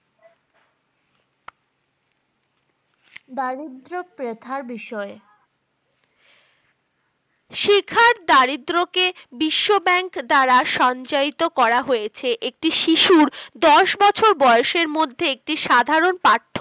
দারিদ্র প্রথার বিষয় শিক্ষার দারিদ্র কে বিশ্ব bank দ্বারা সঞ্চায়িত করা হয়েছে একটি শিশুর দশ বছর বয়সের মধ্যে একটি সাধারন পাঠ্য